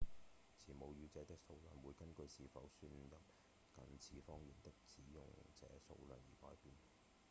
持母語者的數量會根據是否算入近似方言的使用者數量而改變